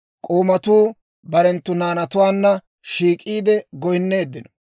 K'oomatuu barenttu naanatuwaanna shiik'iide goynneeddinno.